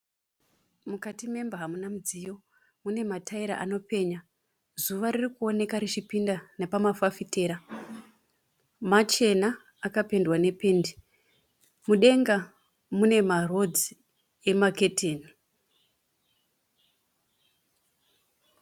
Mukati memba hamuna mudziyo. Mune matayira anopenya. Zuva riri kuoneka richipinda nepamafafitera. Machena, akapendwa nependi. Mudenga mune marodzi emaketeni.